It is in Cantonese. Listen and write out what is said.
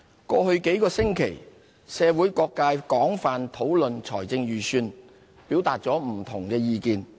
過去幾星期，社會各界廣泛討論預算案，表達不同的意見。